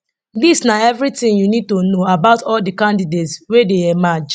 dis na eviritin you need to know about all di candidates wey don emerge